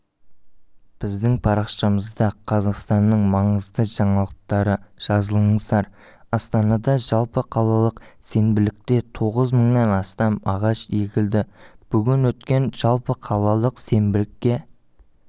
біздің парақшамызда қазақстанның маңызды жаңалықтары жазылыңыздар астанада жалпықалалық сенбіліктетоғызмыңнан астам ағаш егілді бүгін өткен жалпықалалық сенбілікке